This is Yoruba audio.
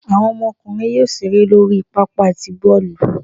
Awọn ọmọkunrín yóò ṣere lori pápá tí bọọlu